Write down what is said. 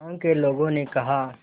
गांव के लोगों ने कहा